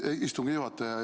Hea istungi juhataja!